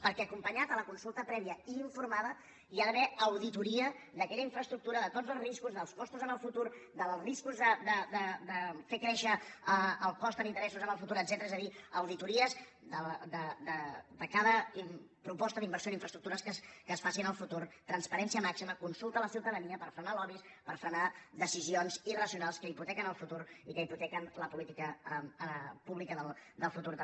perquè acompanyat a la consulta prèvia i informada hi ha d’haver auditoria d’aquella infraestructura de tots els riscos dels costos en el futur dels riscos de fer créixer el cost en interessos en el futur etcètera és a dir auditories de cada proposta d’inversió en infraestructures que es faci en el futur transparència màxima consulta a la ciutadania per frenar lobbys per frenar decisions irracionals que hipotequen el futur i que hipotequen la política pública del futur també